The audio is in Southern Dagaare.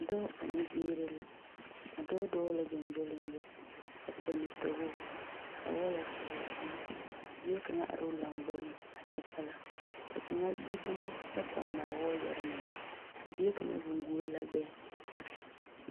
Dɔɔ ane biiri la. A dɔɔ dɔɔ la gyongyoligyo a pɔnne towogo ka wɔɔyɛ kyɔge o eŋɛ. Ka bie kaŋa ar’o lamboriŋ a kyɛ kpala. Ka kaŋa gbi dumo kyɛ pɔnaa wɔɔyɛre mine. Ka bie kaŋa zeŋ guol la gbɛɛ.